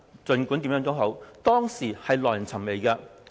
儘管如何，整項安排耐人尋味。